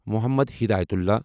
Mohammad Hidayatullah